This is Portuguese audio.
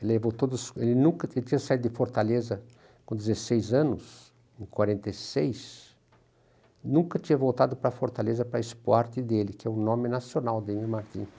Ele voltou do sul, ele nunca, ele tinha saído de Fortaleza com dezessies anos, em quarenta e seis, nunca tinha voltado para Fortaleza para expoarte dele, que é o nome nacional dele, Martim.